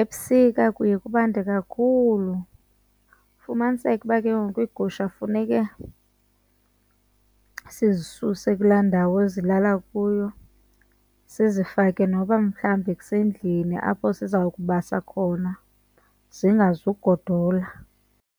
Ebusika kuye kubande kakhulu ufumaniseke uba ke ngoku iigusha funeka sizisuse kulaa ndawo ezilala kuyo sizifake noba mhlawumbi kusendlini apho siza kubasa khona zingazugodola.